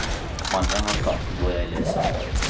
Mange har platen hvor jeg leser.